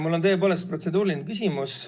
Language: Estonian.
Mul on tõepoolest protseduuriline küsimus.